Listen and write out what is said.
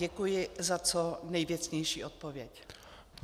Děkuji za co nejvěcnější odpověď.